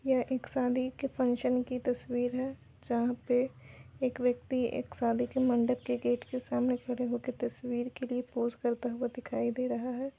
यह एक शादी के फंक्शन की तस्वीर है जहाँ पे एक व्यक्ति एक शादी के मंडप के गेट के सामने खड़े हो के तस्वीर के लिए पोस करता हुआ दिखाई दे रहा है।